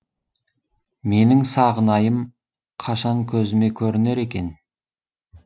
менің сағынайым қашан көзіме көрінер екен